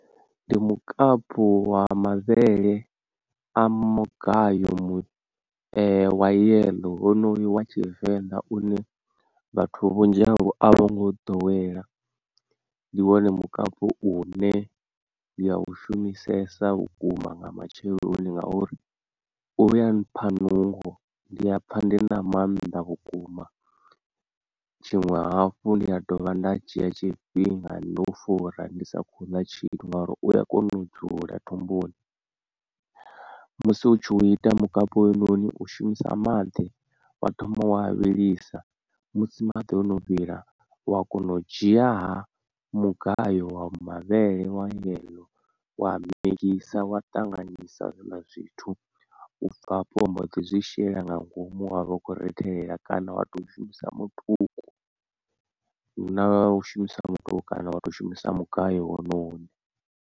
Ndi mukapu wa mavhele a mugayo mu wa yeḽo wonoyu wa tshivenḓa une vhathu vhunzhi havho a vho ngo u ḓowelea, ndi wone mukapu une ndi ya u shumisesa vhukuma nga matsheloni ngauri uya mpha nungo ndiya pfa ndi na maanḓa vhukuma, tshiṅwe hafhu ndi a dovha nda dzhia tshifhinga ndo fura ndi sa khou ḽa tshithu ngauri uya kona u dzula thumbuni musi u tshi u ita mukapi howunoni u shumisa maḓi wa thoma wa a vhilisa musi maḓi o no vhila wa kona u dzhia ha mugayo wa mavhele wa yeḽo wa migisa wa ṱanganyisa zwiḽa zwithu, u bva afho wa mbo ḓi zwi shela nga ngomu wavha u kho ri itela kana wa to shumisa mutuku, na u shumisa mutuku kana wa to shumisa mugayo wone une.